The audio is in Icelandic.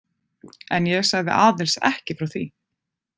En ég sagði Aðils ekki frá því.